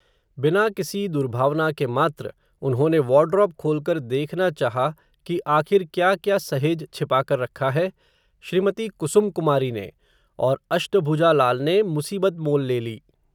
बिना किसी दुर्भावना के मात्र, उन्होंने वार्डरोब खोलकर देखना चाहा, कि आख़िर क्या क्या सहेज छिपाकर रखा है, श्री मती कुसुम कुमारी ने, और अष्टभुजा लाल ने, मुसीबत मोल ले ली